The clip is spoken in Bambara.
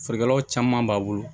Feerekɛlaw caman b'a bolo